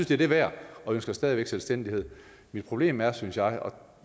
det er det værd og ønsker stadig væk selvstændighed mit problem er synes jeg og